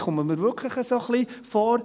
Ich komme mir wirklich ein wenig so vor: